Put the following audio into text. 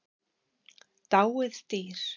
Dáið dýr.